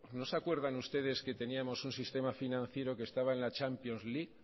no se acuerdan ustedes que teníamos un sistema financiero que estaba en la champions league